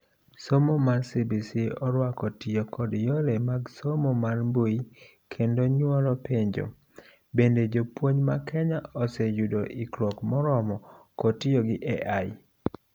somo mar CBC oruako tiyo kod yore mag somo mar mbui kendo nyuolo penjo; bende jopuonj ma Kenya osee yudo ikruok moromo kod tiyo gi AI